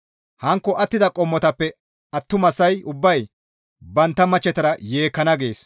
hankko attida qommotappe attumasay ubbay bantta machchetara yeekkana» gees.